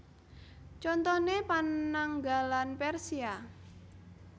Contoné Pananggalan Persia